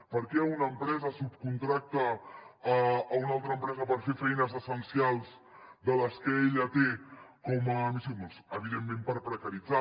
per què una empresa subcontracta una altra empresa per fer feines essencials de les que ella té com a missió doncs evi·dentment per precaritzar